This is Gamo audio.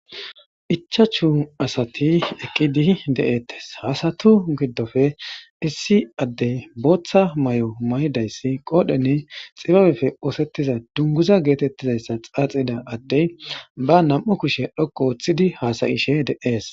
ichachu asati eqqidi de7ettes hasatu giddofe issi addey booththa may7o may7dayssi qoodhenne xibabefe oosettiza dunguza geetettizayssa xaaxida addey ba nam7u kushe dhoqo ooththidi hasayishe de7ees